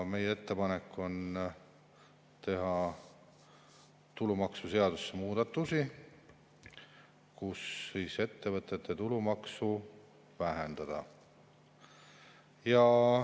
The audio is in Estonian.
Meie ettepanek on teha tulumaksuseadusesse muudatusi, et ettevõtete tulumaksu vähendada.